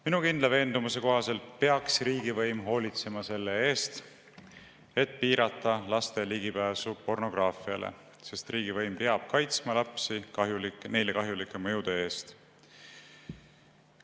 Minu kindla veendumuse kohaselt peaks riigivõim hoolitsema selle eest, et piirata laste ligipääsu pornograafiale, sest riigivõim peab kaitsma lapsi neile kahjulike mõjude eest.